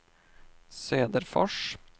Söderfors